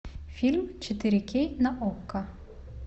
фильм четыре кей на окко